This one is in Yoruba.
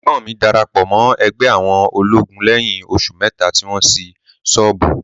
Ẹ̀gbọ́n mi darapọ̀ mọ́ ẹgbẹ́ àwọn olóògùn lẹ́yìn oṣù mẹ́ta tí wọ́n ṣí ṣọ́ọ̀bù.